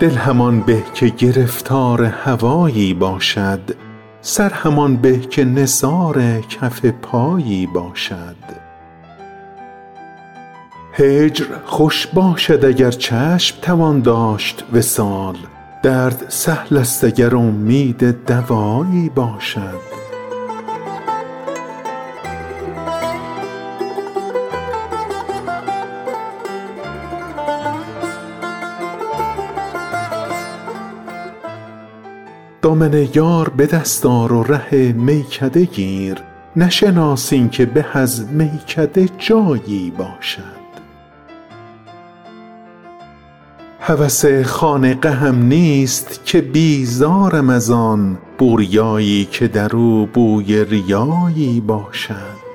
دل همان به که گرفتار هوایی باشد سر همان به که نثار کف پایی باشد هجر خوش باشد اگر چشم توان داشت وصال درد سهلست اگر امید دوایی باشد دامن یار به دست آر و ره میکده گیر نشناس اینکه به از میکده جایی باشد هوس خانقهم نیست که بیزارم از آن بوریایی که در او بوی ریایی باشد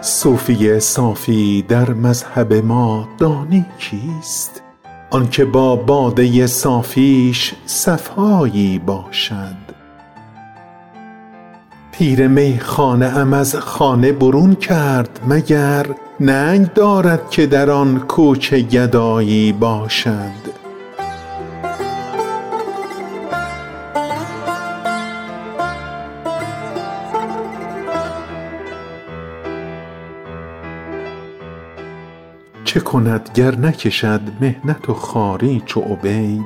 صوفی صافی در مذهب ما دانی کیست آن که با باده صافیش صفایی باشد پیر میخانه ام از خانه برون کرد مگر ننگ دارد که در آن کوچه گدایی باشد چه کند گر نکشد محنت و خواری چو عبید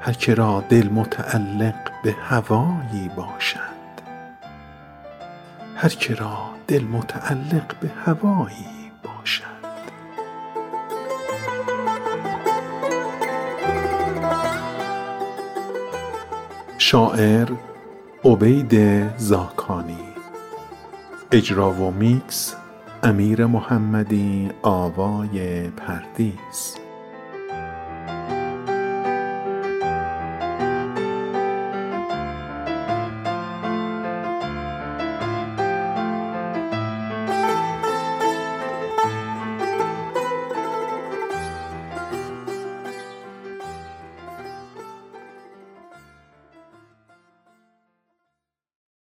هر که را دل متعلق به هوایی باشد